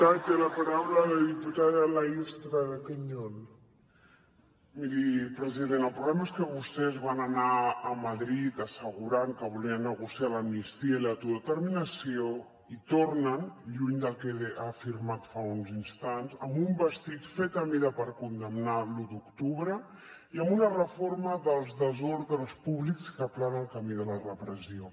miri president el problema és que vostès van anar a madrid assegurant que volien negociar l’amnistia i l’autodeterminació i tornen lluny del que ha afirmat fa uns instants amb un vestit fet a mida per condemnar l’u d’octubre i amb una reforma dels desordres públics que aplana el camí de la repressió